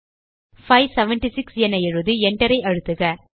576 என எழுதி enter ஐ அழுத்துக